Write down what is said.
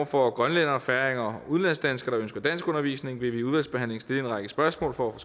for grønlændere færinger og udenlandsdanskere der ønsker danskundervisning vil vi i udvalgsbehandlingen stille en række spørgsmål for at